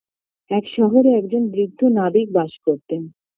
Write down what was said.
এক শহরে একজন বৃদ্ধ নাবিক বাস করতেন